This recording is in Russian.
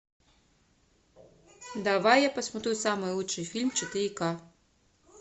давай я посмотрю самый лучший фильм четыре ка